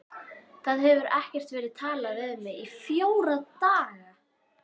Það hefur ekkert verið talað við mig í fjóra daga.